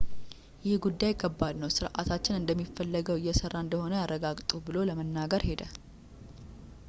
ይህ ጉዳይ ከባድ ነው ሥርዓታችን እንደሚፈለገው እየሰራ እንደሆነ ያረጋግጡ ብሎ ለመናገር ሄደ